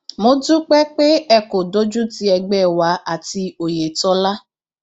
mo dúpẹ pé ẹ kò dojútì ẹgbẹ wa àti òyetòlá